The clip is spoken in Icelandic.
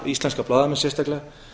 íslenska blaðamenn sérstaklega